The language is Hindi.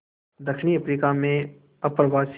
दक्षिण अफ्रीका में अप्रवासी